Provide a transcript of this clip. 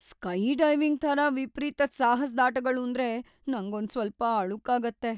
Skydiving ಥರ ವಿಪರೀತದ್ ಸಾಹಸ್ದಾಟ್‌ಗಳೂಂದ್ರೆ ನಂಗೊಂದ್ಸ್ವಲ್ಪ ಅಳುಕಾಗತ್ತೆ.